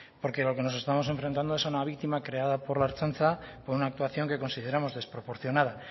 porque a lo que nos estamos enfrentando es a una víctima creada por la ertzaintza por una actuación que consideramos desproporcionada